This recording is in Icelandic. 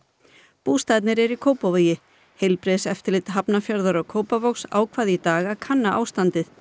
bústaðirnir eru í Kópavogi heilbrigðiseftirlit Hafnarfjarðar og Kópavogs ákvað í dag að kanna ástandið